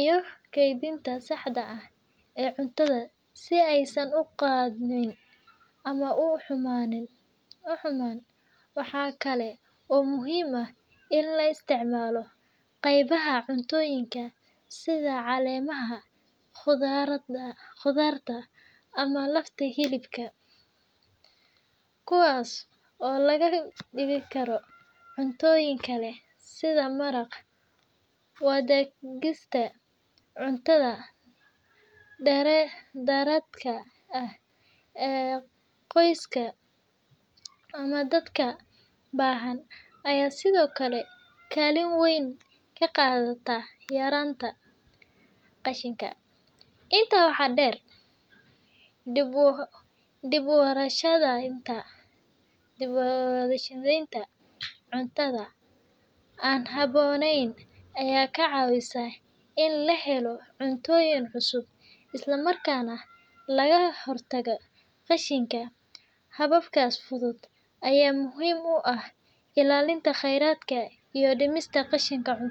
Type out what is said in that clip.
iyo kaydinta saxda ah ee cuntada si aysan u qudhmin ama u xumaan. Waxa kale oo muhiim ah in la isticmaalo qaybaha cuntooyinka sida caleemaha khudradda ama lafta hilibka, kuwaas oo laga dhigi karo cuntooyin kale sida maraq. Wadaagista cuntada dheeraadka ah ee qoyska ama dadka baahan ayaa sidoo kale kaalin weyn ka qaadata yaraynta qashinka. Intaa waxaa dheer, dib-u-warshadaynta cuntada aan habboonayn ayaa ka caawisa in la helo cuntooyin cusub isla markaana laga hortago qashinka. Hababkaas fudud ayaa muhiim u ah ilaalinta kheyraadka iyo dhimista qashinka cuntada.